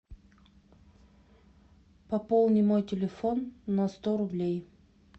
пополни мой телефон на сто рублей